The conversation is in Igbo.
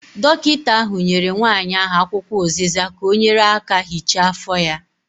Dọkịta ahụ nyere nwanyị ahụ akwụkwọ ụziza ka ọ nyere aka hichaa afọ ya.